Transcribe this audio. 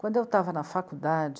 Quando eu estava na faculdade,